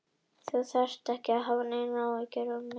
Þú þarft ekki að hafa neinar áhyggjur af mér, sagði hún.